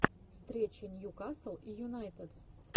встреча ньюкасл и юнайтед